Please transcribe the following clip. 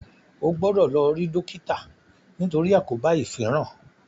o gbódò lò ri dókítà nitori àkóbá ifinran!